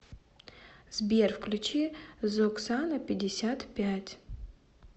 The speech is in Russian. сбер включи зоксана пятьдесят пять